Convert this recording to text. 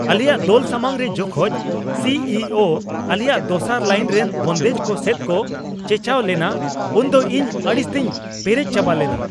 ᱟᱞᱮᱭᱟᱜ ᱫᱚᱞ ᱥᱟᱢᱟᱝ ᱨᱮ ᱡᱚᱠᱷᱚᱱ ᱥᱤ ᱤ ᱳ ᱟᱞᱮᱭᱟᱜ ᱫᱚᱥᱟᱨ ᱞᱟᱭᱤᱱ ᱨᱮᱱ ᱵᱚᱱᱫᱮᱡ ᱠᱚ ᱥᱮᱫ ᱠᱚ ᱪᱮᱪᱟᱣ ᱞᱮᱱᱟ ᱩᱱ ᱫᱚ ᱤᱧ ᱟᱹᱲᱤᱥ ᱛᱤᱧ ᱯᱮᱨᱮᱡ ᱪᱟᱵᱟ ᱞᱮᱱᱟ ᱾